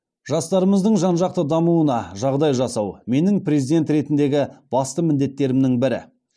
жастарымыздың жан жақты дамуына жағдай жасау менің президент ретіндегі басты міндеттерімнің бірі